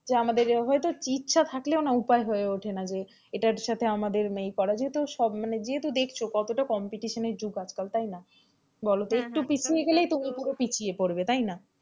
যে আমাদের হয়তো ইচ্ছে থাকলেও না উপায় হয়ে ওঠে না যে এটার সাথে আমাদের এই করার যেহেতু সব যেহেতু দেখছো কতটা competition এর যুগ আজকাল তাই না? বলতো একটু পিছিয়ে গেলেই তুমি পুরো পিছিয়ে পড়বে তাই না,